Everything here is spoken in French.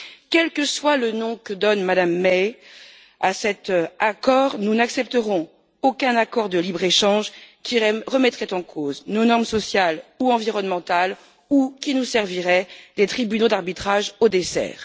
Quel que soit le nom que donne Mme May à cet accord, nous n'accepterons aucun accord de libre échange qui remettrait en cause nos normes sociales ou environnementales ou qui nous servirait des tribunaux d'arbitrage au dessert.